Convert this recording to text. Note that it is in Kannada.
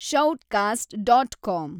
Shoutcast dot com